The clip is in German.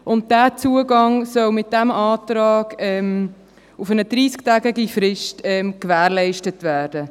Dieser Zugang soll mit meinem Antrag auf eine 30-tägige Frist gewährleistet werden.